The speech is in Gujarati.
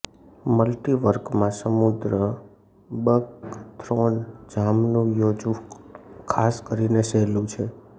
મલ્ટીવર્કમાં સમુદ્ર બકથ્રોન જામનું યોજવું ખાસ કરીને સહેલું છે